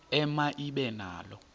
ema ibe nalo